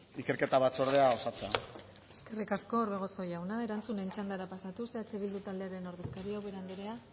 ikerketa batzordea osatzea eskerrik asko orbegozo jauna erantzunen txandara pasatuz eh bildu taldearen ordezkaria ubera anderea